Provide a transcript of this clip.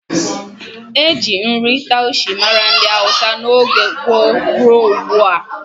Eji nri taushe mara ndị hausa n'oge gboo rụọ ugbua